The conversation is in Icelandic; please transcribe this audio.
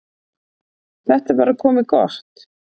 Þetta er bara komið gott.